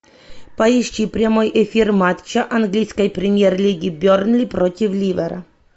поищи прямой эфир матча английской премьер лиги бернли против ливера